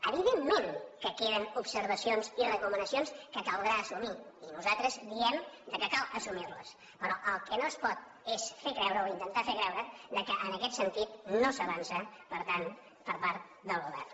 evidentment que queden observacions i recomanacions que caldrà assumir i nosaltres diem que cal assumirles però el que no es pot és fer creure o intentar fer creure que en aquest sentit no s’avança per tant per part del govern